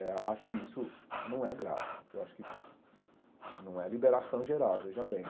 Eh eu acho que isso não é grave, eu acho que não é liberação geral, veja bem.